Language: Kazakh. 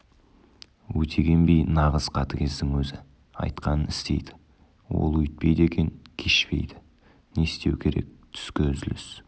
өтеген би нағыз қатыгездің өзі айтқанын істейді ол өйтпейді екен кешпейді не істеу керек түскі үзіліс